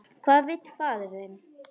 Hvað vill faðir þinn?